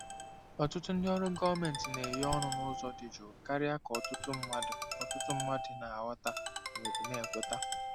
Ọtụtụ ndị ọrụ gọọmentị na-enye ọnụ na-ego n'ụzọ dị jụụ karịa ka ọtụtụ mmadụ ọtụtụ mmadụ na-aghọta ma ọ bụ na-ekweta.